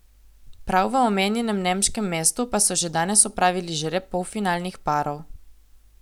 Prav v omenjenem nemškem mestu pa so že danes opravili žreb polfinalnih parov.